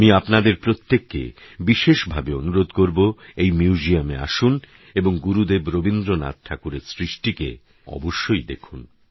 আমি আপনাদের প্রত্যেককে বিশেষভাবে অনুরোধ করবো এই মিউজিয়ামে আসুন এবং গুরুদেব রবীন্দ্রনাথ ঠাকুরের সৃষ্টিকে যেন অবশ্যই দেখুন